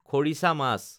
খৰিছা মাছ